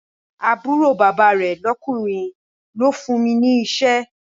Àbúrò bàbá rẹ̀ lọ́kùnrin ló fún mi ní iṣẹ́